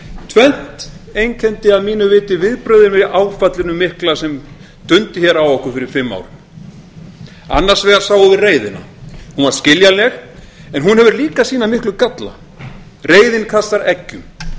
tvennt einkenndi að mínu viti viðbrögðin við áfallinu mikla sem dundi hér á okkur fyrir fimm árum annars vegar sáum við reiðina hún var skiljanleg en hún hefur líka sína miklu galla reiðin kastar eggjum